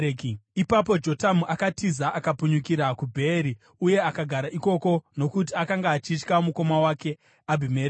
Ipapo Jotamu akatiza, akapunyukira kuBheeri, uye akagara ikoko nokuti akanga achitya mukoma wake Abhimereki.